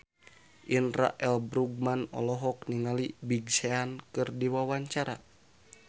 Indra L. Bruggman olohok ningali Big Sean keur diwawancara